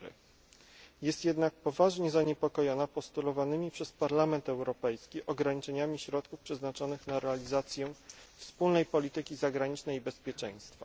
4. Jest jednak poważnie zaniepokojona postulowanymi przez Parlament Europejski ograniczeniami środków przeznaczonych na realizację Wspólnej Polityki Zagranicznej i Bezpieczeństwa.